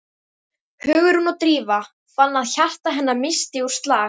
Hugrún og Drífa fann að hjarta hennar missti úr slag.